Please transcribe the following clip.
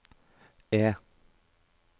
E